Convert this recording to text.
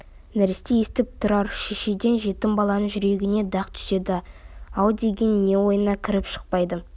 нәресте естіп тұр-ау шешеден жетім баланың жүрегіне дақ түседі-ау деген не ойына кіріп шықпайды